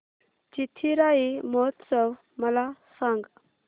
चिथिराई महोत्सव मला सांग